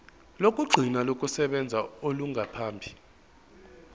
lokugcina lokusebenza olungaphambi